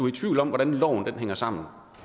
i tvivl om hvordan loven hænger sammen